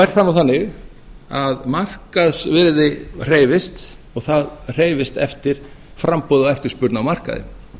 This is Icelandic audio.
er það nú þannig að markaðsvirði hreyfist og það hreyfist eftir framboði og eftirspurn á markaði